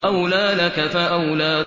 أَوْلَىٰ لَكَ فَأَوْلَىٰ